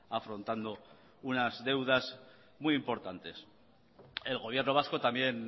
afrontando unas deudas muy importantes el gobierno vasco también